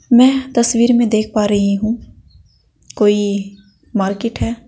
मैं तस्वीर में देख पा रही हूं कोई मार्केट है।